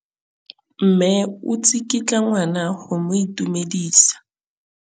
Mme o tsikitla ngwana go mo itumedisa.